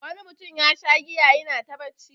Wani mutum yasha giya yana ta bacci.